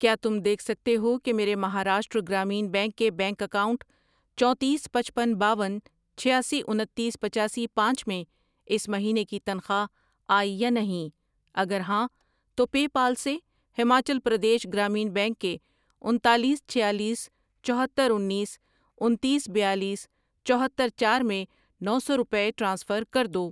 کیا تم دیکھ سکتے ہو کہ میرے مہاراشٹر گرامین بینک کے بینک اکاؤنٹ چونتیس، پچپن، باون، چھیاسی، انتیس، پچاسی، پانچ میں اس مہینے کی تنخواہ آئی یا نہیں؟ اگر ہاں تو پے پال سے ہماچل پردیش گرامین بینک کے انتالیس، چھیالیس، چوہتر، انیس، انتیس، بیالیس، چوہتر، چار میں نو سو روپے ٹرانسفر کر دو۔